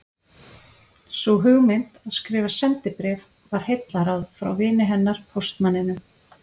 Sú hugmynd að skrifa sendibréf var heillaráð frá vini hennar póstmanninum